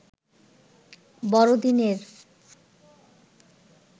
'বড় দিন'-এর